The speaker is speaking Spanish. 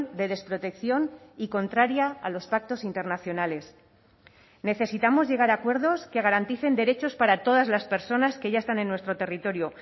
de desprotección y contraria a los pactos internacionales necesitamos llegar a acuerdos que garanticen derechos para todas las personas que ya están en nuestro territorio